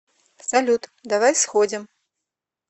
салют давай сходим